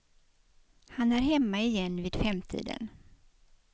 Han är hemma igen vid femtiden.